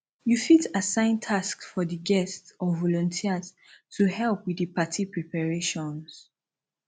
you fit assign tasks for di guests or volunteers to help with di party preparations